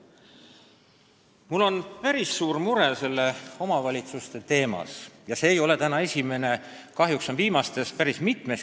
Mul on aga päris suur mure kohalike omavalitsuste teema pärast, mida ei käsitleta siin täna esimest korda vääralt.